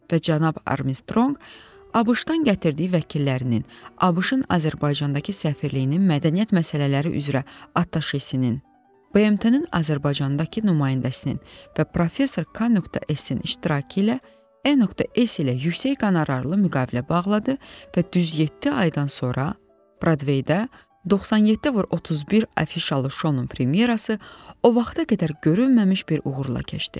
Və cənab Armstrong ABŞ-dan gətirdiyi vəkillərinin, ABŞ-ın Azərbaycandakı səfirliyinin mədəniyyət məsələləri üzrə attaşesinin, BMT-nin Azərbaycandakı nümayəndəsinin və professor k.s-in iştirakı ilə n.s ilə yüksək qonorarlı müqavilə bağladı və düz yeddi aydan sonra Broadway-də 97x31 adlı şounun premyerası o vaxta qədər görünməmiş bir uğurla keçdi.